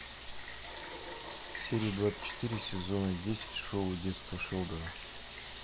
серия двадцать четыре сезона десять шоу детство шелдона